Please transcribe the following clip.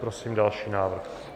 Prosím další návrh.